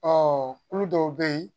Ɔ kulu dɔw bɛ yen